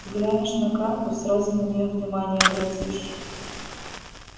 взглянешь на карту сразу на неё внимание обратишь